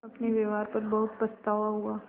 अपने व्यवहार पर बहुत पछतावा हुआ